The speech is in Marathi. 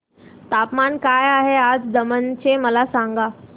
तापमान काय आहे आज दमण चे मला सांगा